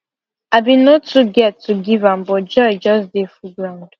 i been no too get to give am but joy just dey full groud